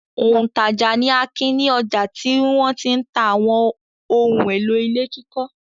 Òǹtajà ni Akin ní ọjà tí wọ́n ti ń ta àwọn ohun-èlò ilé kíkọ́.